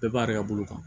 Bɛɛ b'a yɛrɛ ka bolo kan